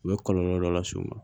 U bɛ kɔlɔlɔ dɔ las'u ma